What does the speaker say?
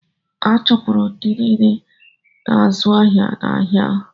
A chụpụrụ ndị niile na-azụ́ ahịa n’ahịa ahụ.